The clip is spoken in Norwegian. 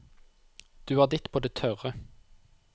Du har ditt på det tørre.